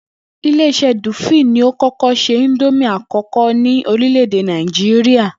Ilé is̩é̩ Dúfíìlì ni ó kó̩kó̩ s̩e ìndómì àkó̩kó̩ ní orílè̩-èdè Nàìjíríà